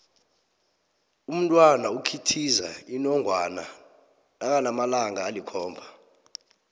umntwana ikhithiza inongwana nakanamalanga alikhomba